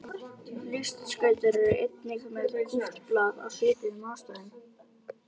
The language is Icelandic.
Listskautar eru einnig með kúpt blað af svipuðum ástæðum.